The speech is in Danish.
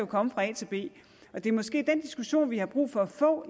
komme fra a til b det er måske den diskussion vi har brug for at få